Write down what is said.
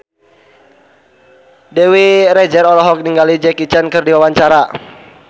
Dewi Rezer olohok ningali Jackie Chan keur diwawancara